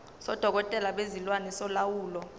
sodokotela bezilwane solawulo